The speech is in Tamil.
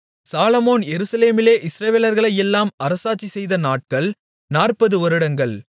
சாலொமோன் எருசலேமிலே இஸ்ரவேலர்களையெல்லாம் அரசாட்சி செய்த நாட்கள் 40 வருடங்கள்